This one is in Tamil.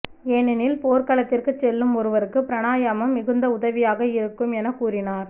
ஏனெனில் போர்களத்திற்கு செல்லும் ஒருவருக்கு பிராணாயாமம் மிகுந்த உதவியாக இருக்கும் என கூறினார்